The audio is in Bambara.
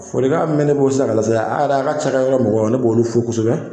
Folikan mɛn ne bolo sisan k'a lase, a ka ka yɔrɔ mɔgɔw, ne b'olu fo kosɛbɛ.